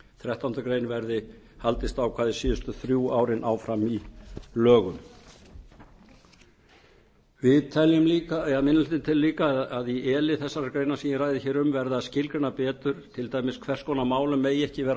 þrettándu greinar haldist ákvæðið síðustu þrjú árin áfram í lögum minni hlutinn telur líka að e lið þessarar greinar verði að skilgreina betur til dæmis hvers konar málum megi ekki vera